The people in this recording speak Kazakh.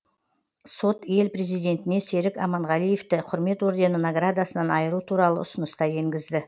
сот ел президентіне серік аманғалиевті құрмет ордені наградасынан айыру туралы ұсыныс та енгізді